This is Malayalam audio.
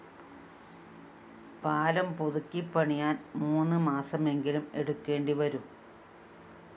പാലം പുതുക്കി പണിയാന്‍ മൂന്ന് മാസമെങ്കിലും എടുക്കേണ്ടി വരും